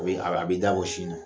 O ye a bɛ a bɛ i dabɔ sin na